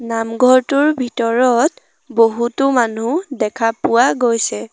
নামঘৰটোৰ ভিতৰত বহুতো মানুহ দেখা পোৱা গৈছে।